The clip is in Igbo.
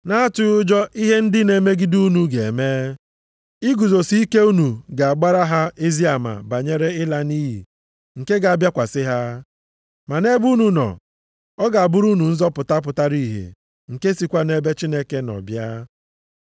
na-atụghị ụjọ ihe ndị na-emegide unu ga-eme. Iguzosi ike unu ga-agbara ha ezi ama banyere ịla nʼiyi nke ga-abịakwasị ha. Ma nʼebe unu nọ, ọ ga-abụrụ unu nzọpụta pụtara ihe nke sikwa nʼebe Chineke nọ bịa.